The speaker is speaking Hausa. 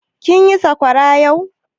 Kin yi sakwara yau?